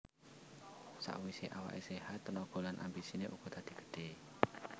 Sakwise awake séhat tenaga lan ambisine uga dadi gedhe